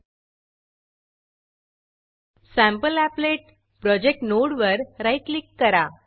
सॅम्पलीपलेट sample applet project नोडवर right click करा